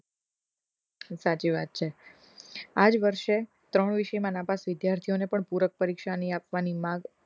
સાચી વાત છે આજ વર્ષે ત્રણ વ વિષયમા નાપાસ વિદ્યાર્થીઓ ને પણ પુરક પરીક્ષા ની આપવાની માંગ